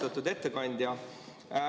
Austatud ettekandja!